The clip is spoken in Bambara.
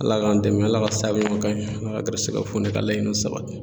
Ala k'an dɛmɛ, ala ka sabuɲuma ka ɲe, ala ka garisigɛw foni ka laɲiniw sabati.